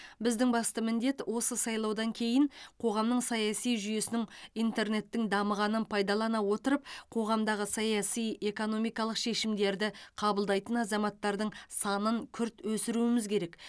біздің басты міндет осы сайлаудан кейін қоғамның саяси жүйесінің интернеттің дамығанын пайдалана отырып қоғамдағы саяси экономикалық шешімдерді қабылдайтын азаматтардың санын күрт өсіруіміз керек